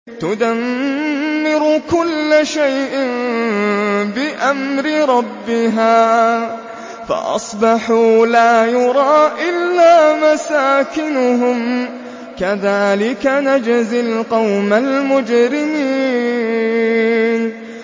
تُدَمِّرُ كُلَّ شَيْءٍ بِأَمْرِ رَبِّهَا فَأَصْبَحُوا لَا يُرَىٰ إِلَّا مَسَاكِنُهُمْ ۚ كَذَٰلِكَ نَجْزِي الْقَوْمَ الْمُجْرِمِينَ